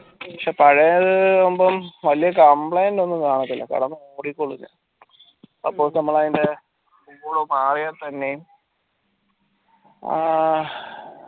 പക്ഷേ പഴേതാവുമ്പം വലിയ complaint ഒന്നും കാണത്തില്ല കിടന്ന് ഓടിക്കോളും suppose നമ്മൾ അതിൻറെ ആഹ്